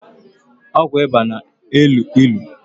Ọgwụ ịba na- elu ilu